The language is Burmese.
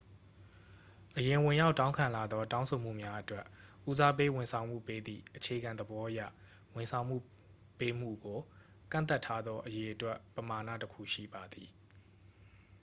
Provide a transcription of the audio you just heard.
အရင်ဝင်ရောက်တောင်းခံလာသော တောင်းဆိုမှုများအတွက်ဉီးစားပေးဝန်ဆောင်မှုပေးသည့်အခြေခံသဘောအရ ဝန်ဆောင်မှုပေးမှုကို ကန့်သတ်ထားသော အရေအတွက်ပမာဏတစ်ခုရှိပါသည်